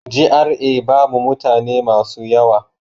GRA babu mutane masu yawa.